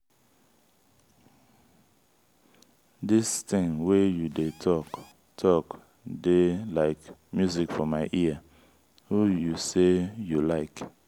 dis thing wey you dey talk dey like music for my ear. who you say you like?